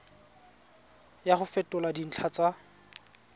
ya go fetola dintlha tsa